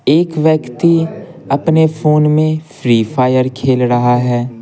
एक व्यक्ति अपने फोन में फ्री फायर खेल रहा है।